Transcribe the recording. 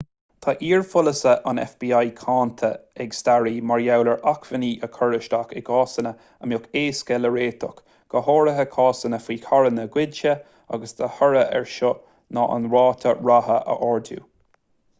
tá iar-pholasaithe an fbi cáinte ag staraí mar gheall ar acmhainní a chur isteach i gcásanna a mbeadh éasca le réiteach go háirithe cásanna faoi charranna goidte agus de thoradh air seo ná an ráta ratha a ardú